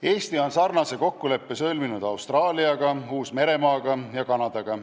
Eesti on sarnase kokkuleppe sõlminud Austraalia, Uus-Meremaa ja Kanadaga.